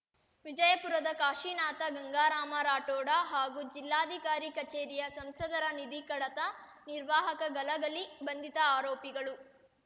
ವಿಜಯಪುರದ ಕಾಶಿನಾಥ ಗಂಗಾರಾಮ ರಾಠೋಡ ಹಾಗೂ ಜಿಲ್ಲಾಧಿಕಾರಿ ಕಚೇರಿಯ ಸಂಸದರ ನಿಧಿ ಕಡತ ನಿರ್ವಾಹಕ ಗಲಗಲಿ ಬಂಧಿತ ಆರೋಪಿಗಳು